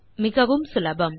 மிகவும் சுலபம்